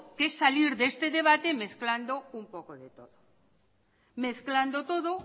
que salir de este debate mezclando un poco de todo mezclando todo